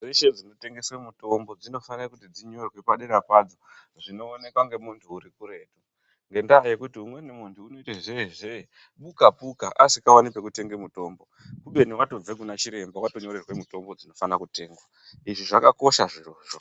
Mhatso dzeshe dzinotengese mitombo dzinofane kunyorwa padera padzo zvinoonekwa ngemuntu urikuretu ngendaa yekuti umweni muntu unoite zeezee bukapuka asikaoni panotengeswe mitombo kubeni muntu watobveto kuna chiremba wanyorerwe mutombo dzinofana kutengwa izvi zvakakosha zvirozvo.